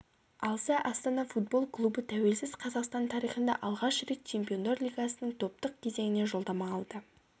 алса астана футбол клубы тәуелсіз қазақстан тарихында алғаш рет чемпиондар лигасының топтық кезеңіне жолдама алды